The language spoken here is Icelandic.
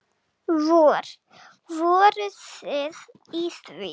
Vor, voruð þið í því?